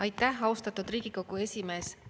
Aitäh, austatud Riigikogu esimees!